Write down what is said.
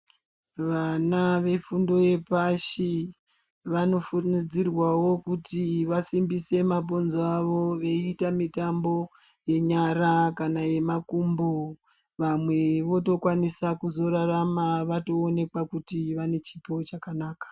Vana vefundo yepashi vanokurudzirwawo kuti vasimbise mabhonzo avo veiite mitambo yenyara kana yemakumbo vamwe votokwanisa kuzorarama vatoonekwa kuti vane chipo chakanaka.